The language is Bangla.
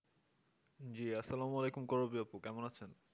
জি আসসালামুয়ালিকুম করবি আপু কেমন আছেন?